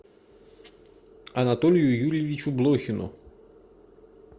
анатолию юрьевичу блохину